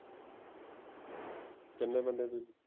ਕਿੰਨੇ ਬੰਦੇ ਹੋ ਤੁਸੀਂ